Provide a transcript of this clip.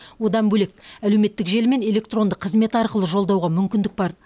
одан бөлек әлеуметтік желі мен электронды қызмет арқылы жолдауға мүмкіндік бар